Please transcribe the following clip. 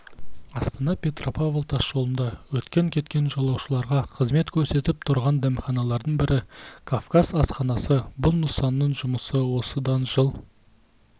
астана-петропавл тасжолында өткен-кеткен жолаушыларға қызмет көрсетіп тұрған дәмханалардың бірі кавказ асханасы бұл нысанның жұмысы осыдан жыл